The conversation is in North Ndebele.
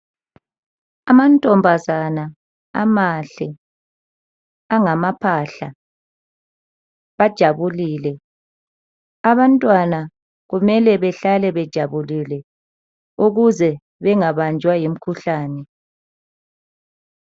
Amantombazana amahle angamaphahla bajabulile abantwana kumele bahlale bejabulile ukuze bengabanjwa yimkhuhlane.